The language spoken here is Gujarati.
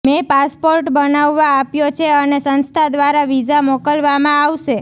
મેં પાસપોર્ટ બનાવવા આપ્યો છે અને સંસ્થા દ્વારા વિઝા મોકલવામાં આવશે